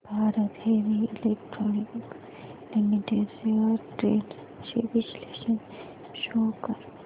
Bharat heavy electricals limited shares trends चे विश्लेषण show कर